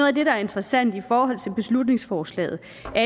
af det der er interessant i forhold til beslutningsforslaget